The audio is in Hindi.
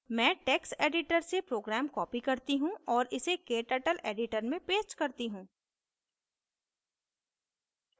मैं text editor से program copy करती हूँ और इसे kturtle editor में paste करती हूँ